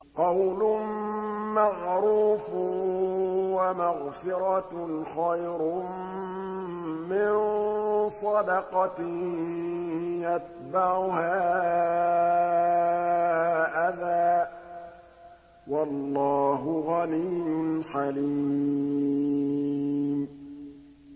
۞ قَوْلٌ مَّعْرُوفٌ وَمَغْفِرَةٌ خَيْرٌ مِّن صَدَقَةٍ يَتْبَعُهَا أَذًى ۗ وَاللَّهُ غَنِيٌّ حَلِيمٌ